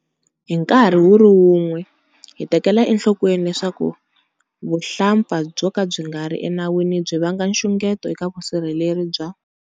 Hi nkarhi wu ri wun'we, hi tekela enhlokweni leswaku vuhlampfa byo ka byi nga ri enawini byi vanga nxungeto eka vusirheleri bya.